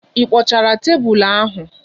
Ị kpochara tebụl ahụ?